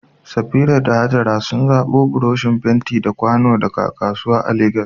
Safira da Hajara sun zabo buroshin fenti da kwano daga kasuwa a Legas.